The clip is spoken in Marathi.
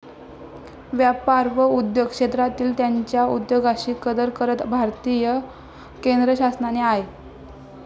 व्यापार व उद्योग क्षेत्रांतील त्यांच्या उद्योगाशी कदर करत भारतीय केंद्रशासनाने आय.